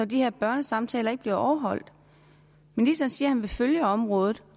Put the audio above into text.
de her børnesamtaler ikke bliver overholdt ministeren siger han vil følge området